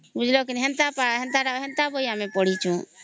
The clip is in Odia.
ବୁଝିଲ କି ନାହିଁ ସେନ୍ତା ବହି ଆମେ ପଢିଛୁ